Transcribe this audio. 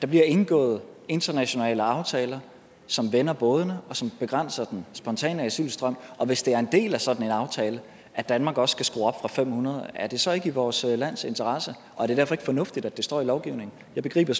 bliver indgået internationale aftaler som vender bådene og som begrænser den spontane asylstrøm hvis det er en del af sådan en aftale at danmark også skal skrue op fra fem hundrede er det så ikke i vores lands interesse og er det derfor ikke fornuftigt at det står i lovgivningen jeg begriber